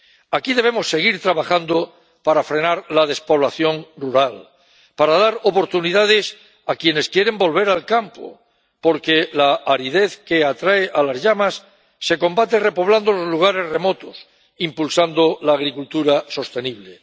aquí debemos seguir trabajando para frenar la despoblación rural, para dar oportunidades a quienes quieren volver al campo, porque la aridez que atrae a las llamas se combate repoblando los lugares remotos, impulsando la agricultura sostenible.